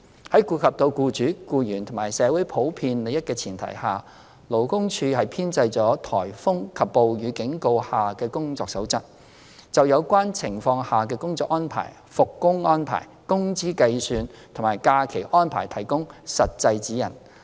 在顧及到僱主、僱員和社會普遍利益的前提下，勞工處編製了"颱風及暴雨警告下的工作守則"，就有關情況下的工作安排、復工安排、工資計算及假期安排提供實際指引。